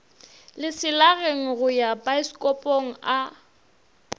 leselageng go ya paesekopong a